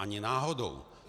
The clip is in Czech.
Ani náhodou.